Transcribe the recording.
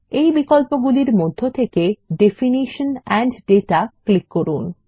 এই বিকল্পগুলির মধ্যে থেকে ডেফিনিশন এন্ড দাতা ক্লিক করুন